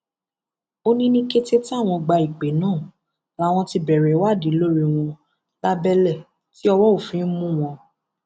ó ní ní kété táwọn gba ìpè náà làwọn ti bẹrẹ ìwádìí lórí wọn lábẹlẹ tí ọwọ òfin mú wọn